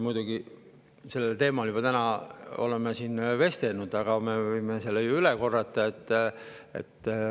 Me oleme sellel teemal täna siin juba vestelnud, aga me võime selle ju üle korrata.